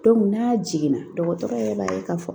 n'a jiginna dɔgɔtɔrɔ yɛrɛ b'a ye k'a fɔ